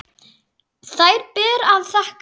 Þær ber að þakka.